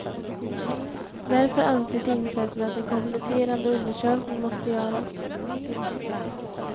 Därför anser tingsrätten att en kompletterande undersökning måste göras.